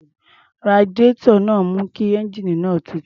Radiárọ̀ náà ń mú kí ẹ́ńjíìnì náà tutù.